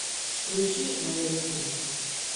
включи моя весна